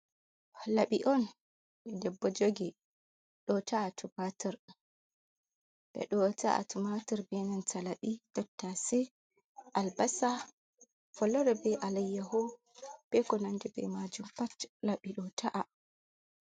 Labi on, debbo jogi ɗota’a tumatur, ɓeɗo ta'a tomator be laɓi, tottase, albasa, follere be alayyaho, iko nande bei majum pat laɓi ɗota’a.